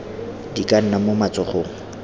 di ka nna mo matsogong